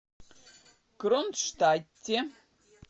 кронштадте